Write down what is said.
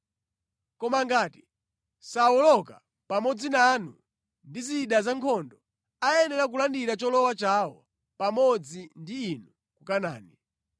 Koma ngati sawoloka pamodzi nanu ndi zida zankhondo, ayenera kulandira cholowa chawo pamodzi ndi inu ku Kanaani.